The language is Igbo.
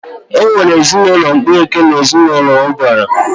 E nwere ezinaụlọ mkpuke na ezinaụlọ ubara